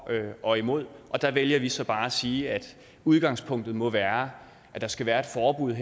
og imod der vælger vi så bare at sige at udgangspunktet må være at der skal være et forbud og